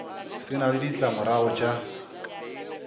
se na le ditlamorago tša